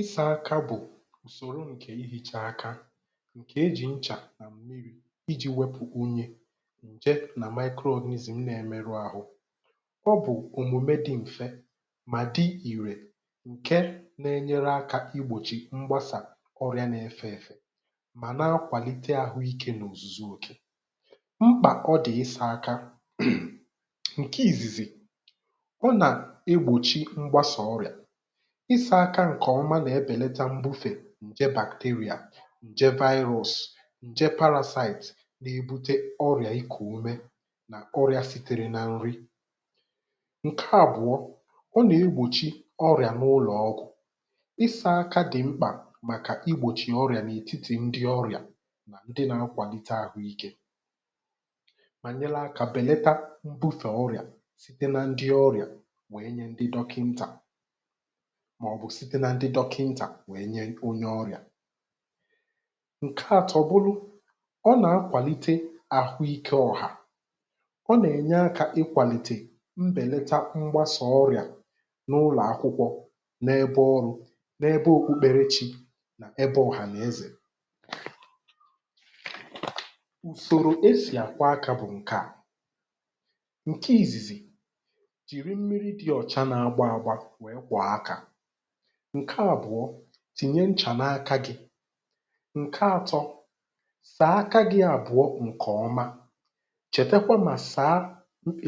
ịsā aka bụ̀ ùsòro e jì àsa akā, ǹkè e jì nchà I jī wẹpụ̀ unyi, y anà micro organism na ẹmẹrụ ahụ. ọ bụ̀ òmùme dị m̀fẹ, mà dị ìrè, ǹkẹ na ẹ nyẹrẹ akā I gbòchì mgbasà ọrịā na ẹfẹ ẹ̀fẹ, mà na akwàlite àhụ ikē n’òzùzu òkè. mkpà ọ dị̀ ịsā aka. ǹkẹ ìzìzì, ọ nà egbòchi mgbasà ọrịà. ịsā aka ǹkẹ̀ ọma nà ẹbẹ̀lata m̀bufe ǹjẹ bacteria, nje virus, njẹ parasite na ebute ọrị̀à ịkù ume nà ọrịā sitere nà nri. ǹkẹ àbụ̀ọ, ọ nà egbòchi ọrị̀à n’ụlọ̀ ọgwụ̀. ịsā aka dị̀ mkpà màkà I gbòchì ọrịà n’ètitì ndị ọrị̀à, ndị na akwàlite ahụ ikē, mà nyẹrẹ akā bẹ̀lẹtẹ mbufè ọrị̀à site na ndị ọrìà, wẹ nyẹ ndị dọkịntà, mà ọ̀ bụ̀ site nan dị dọkịntà wẹ nyẹ onye ọrị̀à. ǹkẹ atọ bụlụ, ọ nà akwànite ahụ ikē ọ̀hà. ọ nà ẹ̀nyẹ akā ịkwànìte mbẹ̀lẹta mgbasà ọrịà n’ụlọ̀akwụkwọ, n’ẹbẹ ọrụ̄, n’ẹbẹ obubẹrẹchị̄, ẹbẹ ọ̀hàn’ẹzẹ̀. ùsòrò e sì àkwọ akā bụ̀ ǹkẹ à, ǹkẹ ìzìzì, jìri mmiri dị òcha na agbọ agbọ wẹ̀ẹ kwọ̀ọ akā. ǹkẹ àbụ̀a, tìnye nchà n’akā gị. ǹkẹ atọ, sàa aka gị àbụ̀a ǹkẹ̀ ọma. chẹ̀̀tẹkwa mà sàa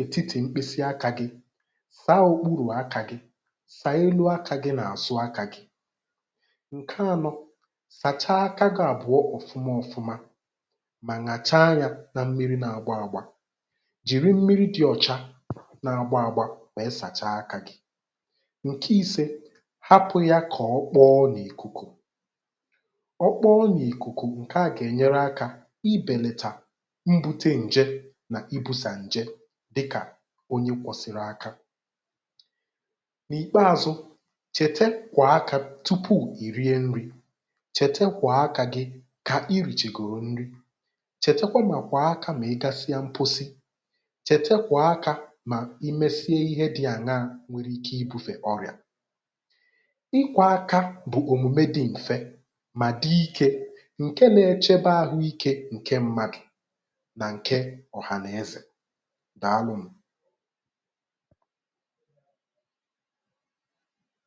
ètitì mkpịsị akā gị. sa okpurù akā gị. sàa elu akā gị nà àzụ akā gị. ǹkẹ anọ, sàcha aka gị àbụ̀a ọ̀fụma ọfụma, mà nyàcha yā na mmiri na agbo agba. jìri mmiri dị ọ̀cha, na agbo agba wèe sàcha akā gị. ǹkẹ ise, hapụ̀ yā kà ọ kpọ n’ìkụ̀kụ̀. ọ kpọ n’ìkùkù, ǹkẹà gà ẹ̀nyẹrẹ akā ị bẹ̀làtà ibūte ǹjẹ̀ nà ibūsà ǹjẹ, dịkà onye kwọsịrị aka. n’ìkpeazụ, chẹ̀tẹ kwọ̀ọ akā gị tupù ị̀ rie nrị, chẹ̀tẹ kwọ̀ọ akā gị kà I rìchègòrò nri. chẹ̀tẹkwa mà kwọ̀ọ akā mà ị gasịa mposi. chẹ̀tẹ kwọ̀ọ akā mà ị mẹsiẹ ịhẹ dị̄ ànyaā, nwẹrẹ ike I būfè ọrị̀à. ịkwọ̄ aka bụ̀ òmùme dị m̀fẹ, mà dị ikē, ǹkẹ na ẹchẹbẹ ahụ ikē ǹkẹ mmadù, nà ǹkẹ ọ̀hànẹzẹ̀. Dàalụ nụ̀.